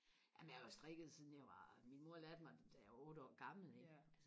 jamen jeg har jo strikket siden jeg var min mor lærte mig det da jeg var otte år gammel ikke